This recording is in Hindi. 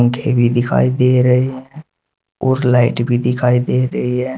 भी दिखाई दे रहे हैं और लाइट भी दिखाई दे रही है।